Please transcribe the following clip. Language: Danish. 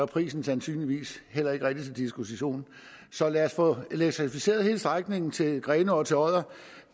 prisen sandsynligvis heller ikke rigtig til diskussion så lad os få elektrificeret hele strækningen til grenaa og til odder